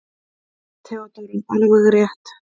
THEODÓRA: Alveg rétt!